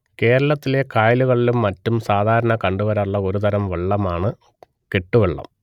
കേരളത്തിലെ കായലുകളിലും മറ്റും സാധാരണ കണ്ടുവരാറുള്ള ഒരു തരം വള്ളമാണ് കെട്ടുവള്ളം